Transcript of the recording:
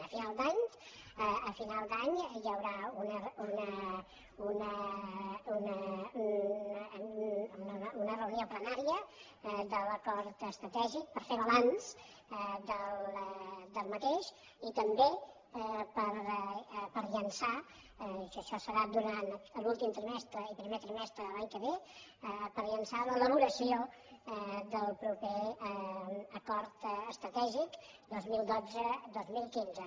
a final d’any a final d’any hi haurà una reunió plenària de l’acord estratègic per fer ne balanç i també per llançar això es farà durant l’últim trimestre i primer trimestre de l’any que ve l’elaboració del proper acord estratègic dos mil dotze dos mil quinze